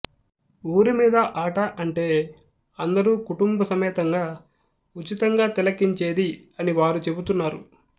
ఊరిమీది ఆట అంటే అందరు కుటుంబ సమేతంగా ఉచితంగా తిలకించేది అనివారు చెపుతున్నారు